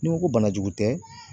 N'i ko ko bana jugu tɛ